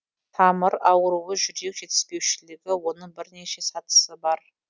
тамыр ауруы жүрек жетіспеушілігі оның бірнеше сатысы бар